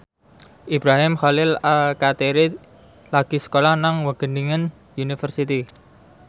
Ibrahim Khalil Alkatiri lagi sekolah nang Wageningen University